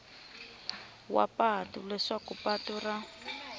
wa patu leswaku patu ra